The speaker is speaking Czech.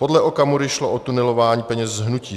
"Podle Okamury šlo o tunelování peněz z hnutí.